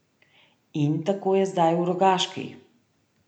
In tako je zdaj v Rogaški.